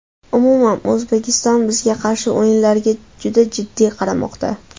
Umuman, O‘zbekiston bizga qarshi o‘yinlarga juda jiddiy qaramoqda.